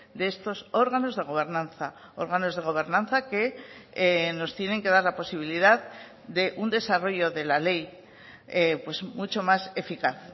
de estos órganos de gobernanza órganos de gobernanza que nos tienen que dar la posibilidad de un desarrollo de la ley mucho más eficaz